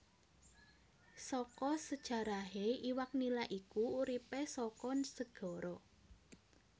Saka sejarahé iwak Nila iku uripé saka segara